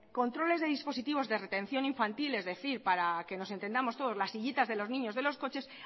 controles de dispositivos de retención infantil es decir para que nos entendamos todos las sillitas de los niños de los coches